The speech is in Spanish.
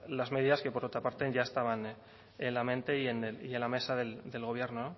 las medidas que por otra parte ya estaban en la mente y en la mesa del gobierno